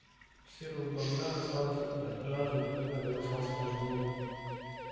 у серого бобра осталась только жажда которая росла с каждой минутой